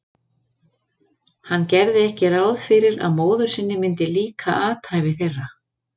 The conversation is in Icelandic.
Hann gerði ekki ráð fyrir að móður sinni myndi líka athæfi þeirra.